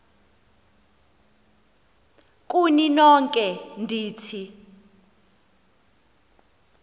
kuni nonke ndithi